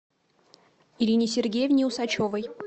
ирине сергеевне усачевой